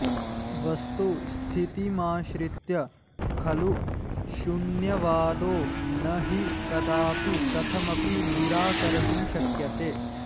वस्तुस्थितिमाश्रित्य खलु शून्यवादो नहि कदापि कथमपि निराकर्तुं शक्यते